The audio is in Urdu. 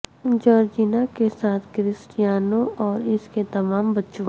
جارجینا کے ساتھ کرسٹریانو اور اس کے تمام بچوں